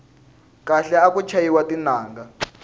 khale aku chayiwa tinanga